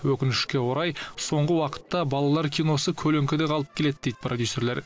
өкінішке орай соңғы уақытта балалар киносы көлеңкеде қалып келеді дейді продюсерлер